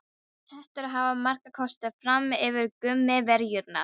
Hettur hafa marga kosti fram yfir gúmmíverjurnar.